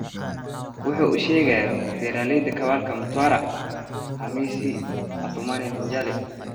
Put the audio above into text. Wuxu uusheegayo beeraleyta kawalka Mtawara, Hamisi Athumani Minjale.